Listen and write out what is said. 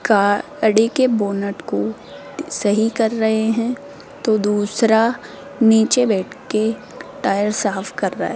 गाड़ी के बोनट को सही कर रहे हैं तो दूसरा नीचे बैठ के टायर साफ कर रहा है।